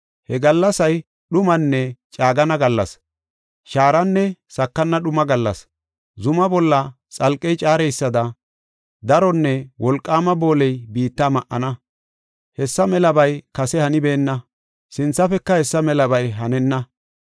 He gallasay dhumanne caagana gallas; shaaranne sakana dhuma gallas! Zumaa bolla xalqey caareysada daronne wolqaama booley biitta ma7ana. Hessa melabay kase hanibeenna, sinthafeka hessa melabay hanenna.